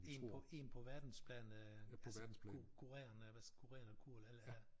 En på en på verdensplan øh altså kurerende hvad kurerende kur eller ja